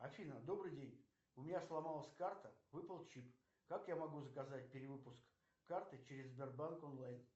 афина добрый день у меня сломалась карта выпал чип как я могу заказать перевыпуск карты через сбербанк онлайн